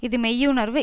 இது மெய்யுணர்வு